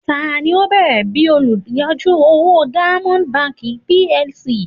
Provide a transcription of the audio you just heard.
tani o bẹrẹ bi oluyanju owo ti diamond bank PLC?